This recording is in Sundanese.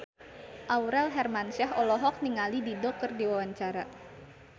Aurel Hermansyah olohok ningali Dido keur diwawancara